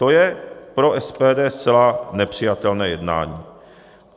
To je pro SPD zcela nepřijatelné jednání.